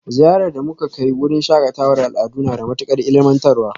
Ziyarar da muka kai wurin shakatawar al'adu na da matukar ilmantarwa